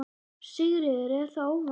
Sigríður: Er það óvanalegt?